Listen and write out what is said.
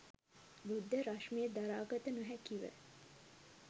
බුද්ධ රශ්මිය දරා ගත නොහැකි ව